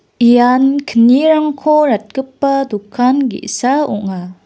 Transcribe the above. ian knirangko ratgipa dokan ge·sa ong·a.